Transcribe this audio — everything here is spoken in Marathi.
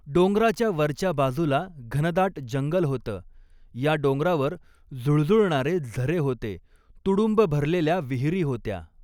डोंगराच्या वरच्या बाजूला घनदाट जंगल होतं, या डोंगरावर झुळझुळणारे झरे होते, तुडुंब भरलेल्या विहिरी होत्या.